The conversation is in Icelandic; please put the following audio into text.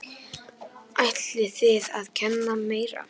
Ætlið þið að kenna meira?